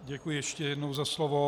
Děkuji ještě jednou za slovo.